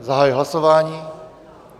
Zahajuji hlasování.